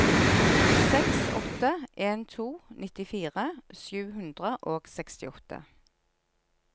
seks åtte en to nittifire sju hundre og sekstiåtte